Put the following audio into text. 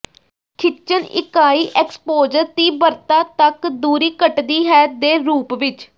ਖਿੱਚਣ ਇਕਾਈ ਐਕਸਪੋਜਰ ਤੀਬਰਤਾ ਤੱਕ ਦੂਰੀ ਘਟਦੀ ਹੈ ਦੇ ਰੂਪ ਵਿੱਚ